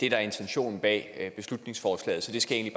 er intentionen bag beslutningsforslaget så det skal jeg